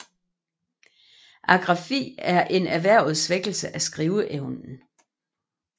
Agrafi er en erhvervet svækkelse af skriveevnen